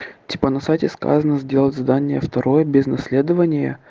типа на сайте сказано сделать задание второе без наследования